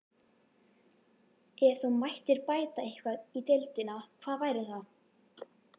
Ef þú mættir bæta eitthvað í deildinni, hvað væri það?